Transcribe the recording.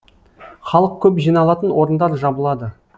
халық көп жиналатын орындар жабылады